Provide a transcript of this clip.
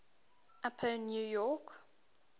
upper new york